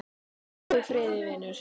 Fljúgðu í friði vinur.